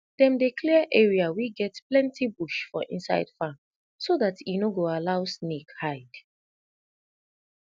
dem dey clear area wey get plenti bush for inside farm so dat e no go allow snake hide